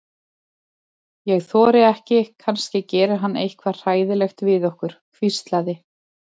Ég þori ekki, kannski gerir hann eitthvað hræðilegt við okkur. hvíslaði